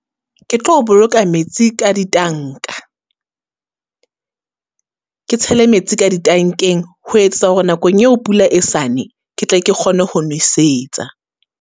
Ke tlo boloka metsi ka ditanka, ke tshele metsi ka ditankeng. Ho etsetsa hore nakong eo pula e sane, ke tle ke kgone ho nosetsa.